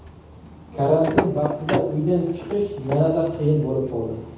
Karantin vaqtida uydan chiqish yanada qiyin bo‘lib qoldi.